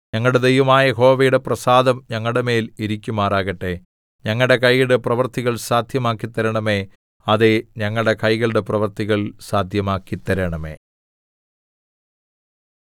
ഞങ്ങളുടെ ദൈവമായ യഹോവയുടെ പ്രസാദം ഞങ്ങളുടെമേൽ ഇരിക്കുമാറാകട്ടെ ഞങ്ങളുടെ കൈകളുടെ പ്രവൃത്തികൾ സാദ്ധ്യമാക്കി തരണമേ അതേ ഞങ്ങളുടെ കൈകളുടെ പ്രവൃത്തികൾ സാദ്ധ്യമാക്കി തരണമേ